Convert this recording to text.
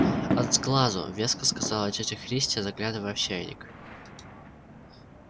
от сглазу веско сказала тётя христи заглядывая в чайник